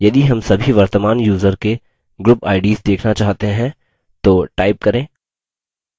यदि हम सभी वर्तमान यूज़र के group ids देखना चाहते हैं तो type करें